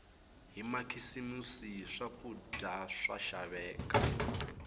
hi makhisimisi swakudya swa xaveka